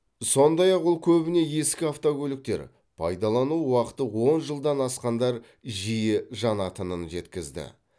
сондай ақ ол көбіне ескі автокөліктер пайдалану уақыты он жылдан асқандар жиі жанатынын жеткізді